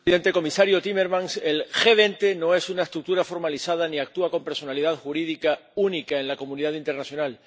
Señor presidente, comisario Timmermans, el G20 no es una estructura formalizada ni actúa con personalidad jurídica única en la comunidad internacional